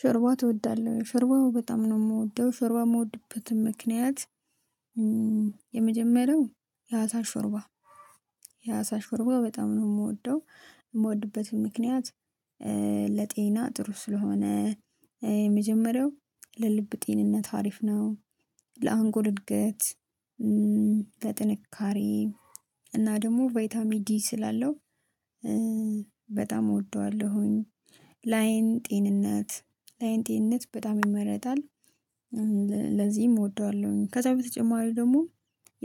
ሾርባ ትወዳለህ ሾርባው በጣም ነው የምወደው ሾርባ የምወድበትም ምክንያት የመጀመሪያው የአሳ ሹርባ የአሳ ሹርባ በጣም ነው የምወደው የምወድበት ምክንያት። ለጤና ጥሩ ስለሆነ የመጀመሪያው ለልብ ጤንነት ሀሪፍ ነው። ለአንጎል እድገት ለጥንካሬ እና ደግሞ ቫይታሚ ዲ ስላለው። በጣም እወደዋለሁኝ ላይን ጤንነት ላይን ጤንነት በጣም ይመረጣል። ለዚህም እወደዋለሁኝ ከዛ በተጨማሪ ደግሞ